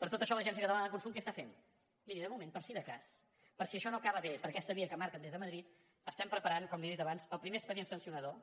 per tot això l’agència catalana de consum què està fent miri de moment per si de cas per si això no acaba bé per aquesta via que marquen des de madrid estem preparant com li he dit abans el primer expedient sancionador